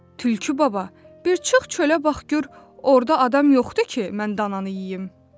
Tülkü baba, bir çıx çölə bax gör orda adam yoxdur ki, mən dananı yeyim.